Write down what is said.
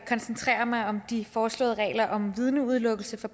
koncentrere mig om de foreslåede regler om vidneudelukkelse for